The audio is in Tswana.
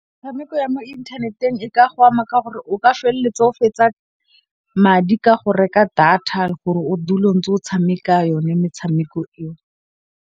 Metshameko ya mo inthaneteng e ka go ama ka gore o ka felletsa o fetsa madi ka go reka data gore o dula ntse o tshameka yone metshameko eo.